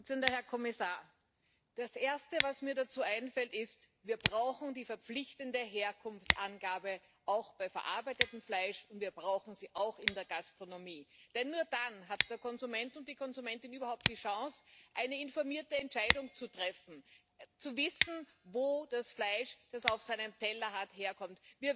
Frau Präsidentin! sehr geehrter Herr Kommissar! Das erste, was mir dazu einfällt, ist Wir brauchen die verpflichtende Herkunftsangabe auch bei verarbeitetem Fleisch, und wir brauchen sie auch in der Gastronomie, denn nur dann hat der Konsument und die Konsumentin überhaupt die Chance, eine informierte Entscheidung zu treffen, zu wissen, wo das Fleisch, das er auf seinem Teller hat, herkommt.